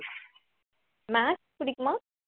maths புடிக்குமா